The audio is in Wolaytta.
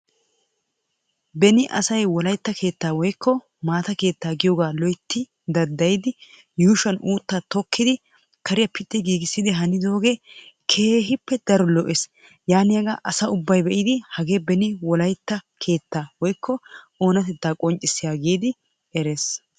Beni asay wolaytta keetta woykko maata giidi loytti daddayiddi pitti giigissidooge keehippe oonatetta qonccissiya keetta.